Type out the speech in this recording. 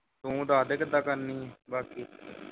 ਤੂੰ ਦੱਸਦੇ ਕਿੱਦਾਂ ਕਰਨੀ ਹੈ ਬਾਕੀ